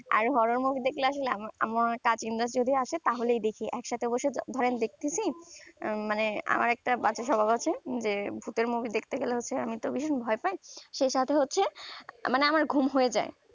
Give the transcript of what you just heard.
আর horror movie দেখলে আসলে আমার cousin রা যদি আসে তাহলেই দেখি একসাথে বসে ধরেন দেখতেছি উম মানে আমার একটা বাজে স্বভাব আছে যে ভুতের movie দেখতে গেলে হচ্ছে আমি তো ভীষণ ভয় পাই সেই সাথে হচ্ছে মানে আমার ঘুম হয়ে যাই